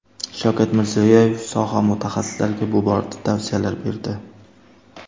Shavkat Mirziyoyev soha mutaxassislariga bu borada tavsiyalar berdi.